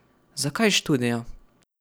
Zakaj študija?